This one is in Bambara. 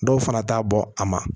Dɔw fana t'a bɔ a ma